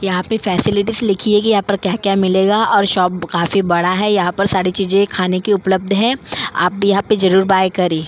यहाँ पे फैसिलिटीज लिखी है कि यहाँ पर क्या-क्या मिलेगा और शॉप काफी बड़ा है यहाँ पर सारी चीजें खाने की उपलब्ध है आप यहाँ पे जरूर बाय करें।